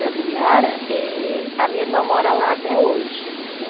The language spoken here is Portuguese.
Da Vila Yara? Eh, a minha irmã mora lá até hoje, né?